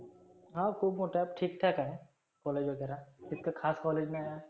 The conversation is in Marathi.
हा खुप मोठ आहे अब ठिक ठाक आहे. college वगैरा इतक खास college नाहिए.